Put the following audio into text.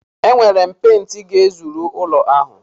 Enwere m pent ga-ezuru ụlọ ahụ.